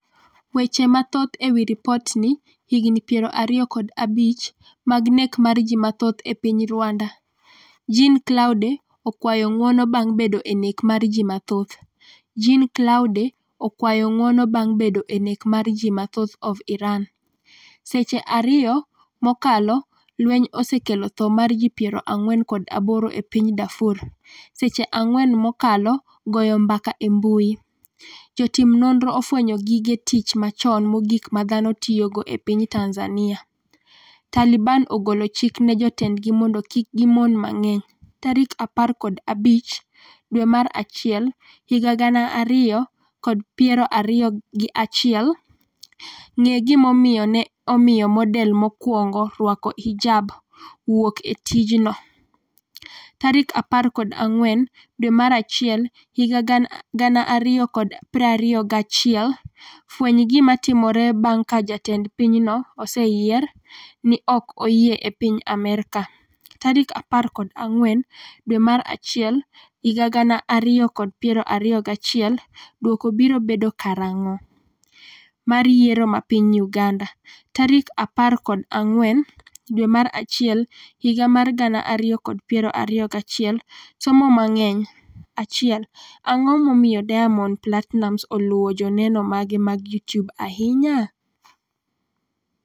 Weche mathoth ewi ripotni Higni 25 mag nek mar ji mathoth e piny Rwanda: Jean Claude okwayo ng'uono bang' bedo e nek mar ji mathoth Jean Claude okwayo ng'uono bang' bedo e nek mar ji mathoth of Iran Seche 2 mokalo Lweny osekelo tho mar ji 48 e piny Darfur Seche 4 mokalo Goyo mbaka e mbui Jotim nonro ofwenyo gige tich machon mogik ma dhano tiyogo e piny Tanzania Taliban ogolo chik ne jotendgi mondo kik gimon mang'eny 15 dwe mar achiel 2021 Ng'e gimomiyo ne omiyo model mokwongo orwak hijab â€ ̃wuok e tijnoâ€TM14 dwe mar achiel 2021 Fweny gima timore bang' ka jatend pinyno oseyier ni ok oyie e piny Amerka 14 dwe mar achiel 2021 Duoko biro bedo karang'o? mar Yiero ma piny Uganda tarik 14 dwe mar achiel higa mar 2021 Somo mang'eny 1 Ang'o momiyo Diamond Platinumz Oluwo joneno mage mag YouTube ahinya?